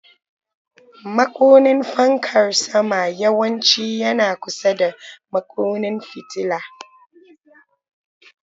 Makunnin fankar sama yawanci yana kusa da makunnin fitila.